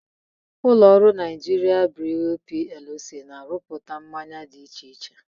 Ụlọrụ Nigerian Breweries PLC na-arụpụta mmanya dị iche iche.